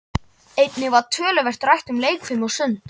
Einnig var töluvert rætt um leikfimi og sund.